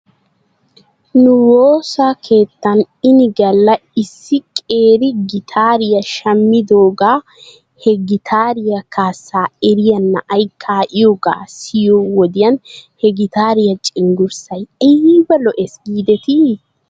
Nu woosa keettan ini galla issi qeeri gitaariyaa shammidoogaa he gitaariyaa kaassaa eriyaa na'ay kaa'iyoogaa siyiyo wodiyan he gitaariyaa cenggurssay ayba lo'ees giidetii?